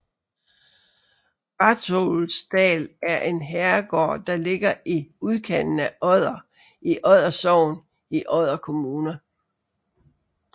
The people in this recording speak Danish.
Rathlousdal er en herregård der ligger i udkanten af Odder i Odder Sogn i Odder Kommune